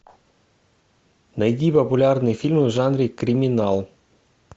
найди популярные фильмы в жанре криминал